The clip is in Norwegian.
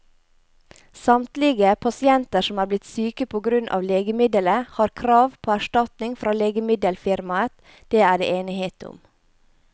Samtlige pasienter som er blitt syke på grunn av legemiddelet, har krav på erstatning fra legemiddelfirmaet, det er det enighet om.